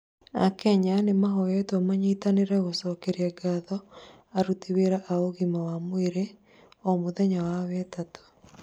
Akenya nĩmarahoywo manyitane kumacokeria ngatho aruti wĩra a ũgima mwega wa mwĩrĩ, o mũthenya wa wetatũ